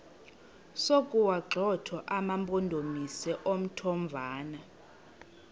sokuwagxotha amampondomise omthonvama